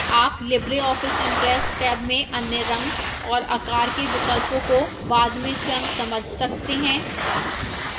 आप libreoffice impress tab में अन्य रंग और आकार के विकल्पों को बाद में स्वयं समझ सकते हैं